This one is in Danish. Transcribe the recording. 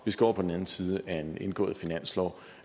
vi skal over på den anden side af en indgået finanslov